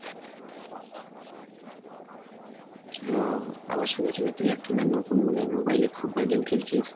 ও আবার শুনেছি নাকি তুই একটা নতুন মানে mobile এ football game খেলছিস